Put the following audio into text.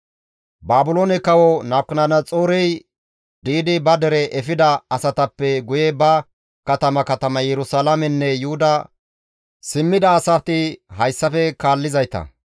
Baabiloone kawo Nabukadanaxoorey di7idi ba dere efida asatappe guye ba katama katama Yerusalaamenne Yuhuda simmida asati hayssafe kaallizayta;